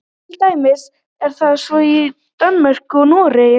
til dæmis er það svo í danmörku og noregi